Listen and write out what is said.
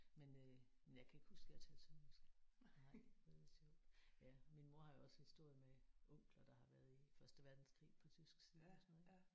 Men øh men jeg kan ikke huske jeg har talt sønderjysk nej det er lidt sjovt men ja min mor har jo også historie med onkler der har været i første verdenskrig på tysk side og sådan noget ik